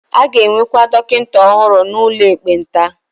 A ga-ewekwa dọkịta ọhụrụ n'ụlọ ekpenta.